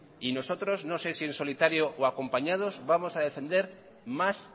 no sé si en solitario o acompañados vamos a defender más